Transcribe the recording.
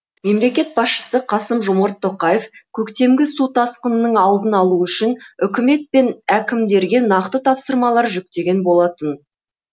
мемлекет басшысы қасым жомарт тоқаев көктемгі су тасқынының алдын алу үшін үкімет пен әкімдерге нақты тапсырмалар жүктеген болатын